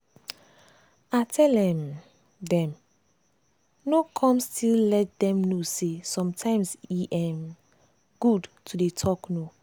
i tell um dem no come still let dem know say sometimes e um good to dey talk no.